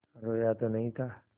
रोया तो नहीं था